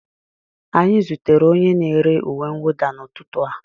Anyị zutere onye na-ere uwe mwụda n'ụtụtụ a